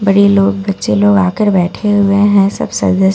बडे़ लोग अच्छे लोग आकर बैठे हुए हैं सब सज धजके आये हैं --